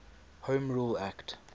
home rule act